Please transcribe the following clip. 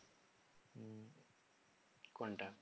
কোনটা